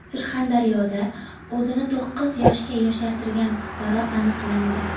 Surxondaryoda o‘zini to‘qqiz yoshga yoshartirgan fuqaro aniqlandi.